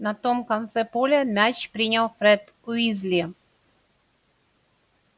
на том конце поля мяч принял фред уизли